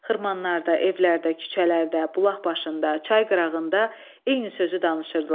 Xırmanlarda, evlərdə, küçələrdə, bulaq başında, çay qırağında eyni sözü danışırdılar.